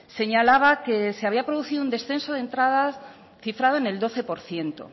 señalaba que se había producido un descenso de entradas cifrado en el doce por ciento